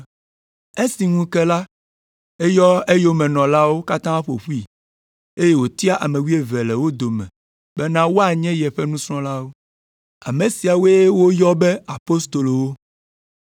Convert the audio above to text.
Esi ŋu ke la, eyɔ eyomenɔlawo katã ƒo ƒui, eye wòtia ame wuieve le wo dome bena woanye yeƒe nusrɔ̃lawo. Ame siawoe woyɔ be apostolowo.